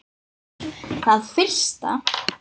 Það fyrsta.